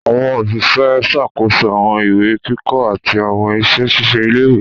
Àwọn Òṣìṣẹ́ ń ṣàkóso àwọn ìwé kíkọ àti àwọn iṣẹ ṣíṣe ilé-ìwé